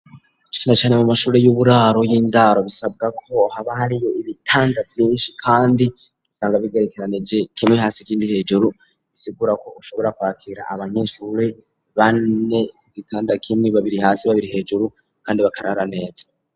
Cane cane mu mashure y'uburaro y'indaro bisabwa ko haba hariyo ibitanda vyinshi kandi nsanga bigerekeranije kimwe hasi kindi hejuru bisigura ko ushobora kwakira abanyeshure bane ku gitandakimwe babiri hasi babiri hejuru kandi bakarara neza.